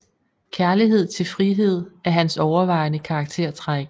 Kærlighed til frihed er hans overvejende karaktertræk